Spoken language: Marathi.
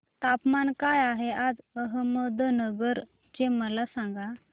तापमान काय आहे आज अहमदनगर चे मला सांगा